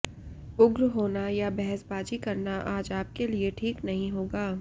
उग्र होना या बहसबाजी करना आज आपके लिए ठीक नहीं होगा